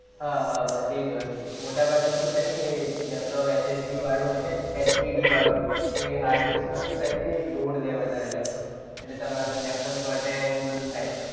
હા હા બસ એ જ વસ્તુ મોટાભાગે શું થાય કે લેપટોપ HSD વાળું હોય ને HDD તો એ hard disk માં શું થાય કે, load લે વધારે લેપટોપ. એટલે તમારે લેપટોપ ચોટે ને બધું થાય.